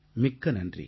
மிக்க நன்றி